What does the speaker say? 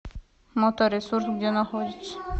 моторесурс где находится